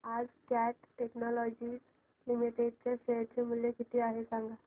आज cat technologies limited चे share चे मूल्य किती आहे सांगा